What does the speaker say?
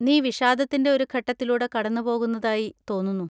നീ വിഷാദത്തിന്‍റെ ഒരു ഘട്ടത്തിലൂടെ കടന്നുപോകുന്നതായി തോന്നുന്നു.